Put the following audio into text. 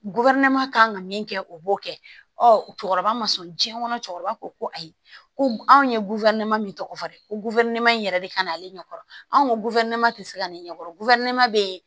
kan ka min kɛ o b'o kɛ ɔ cɛkɔrɔba ma sɔn jiɲɛ kɔnɔ cɛkɔrɔba ko ko ayi ko anw ye min tɔgɔ fɔ dɛ ko in yɛrɛ de ka ɲi ale ɲɛ kɔrɔ anw ko tɛ se ka ne ɲɛkɔrɔ bɛ